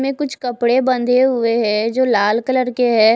इसमे कुछ कपड़े बंधे हुए है जो लाल कलर के है।